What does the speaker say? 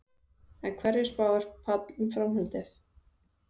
En hverju spáir Páll um framhaldið?